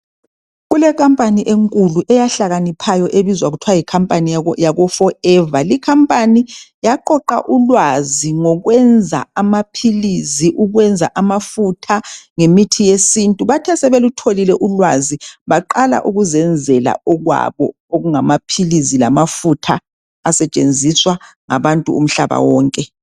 kule company enkulu eyahlakaniphayo ebizwa kuthwe yi company yako forever le i company yaqoqa ulwazi ngokwenza amaphilisi ukwenza amafutha ngemithi yesintu bathe sebelutholile ulwazi baqala ukuzenzela okwabo okungamaphilisi lamafutha asetshenziswa ngabantu umhlaba wonke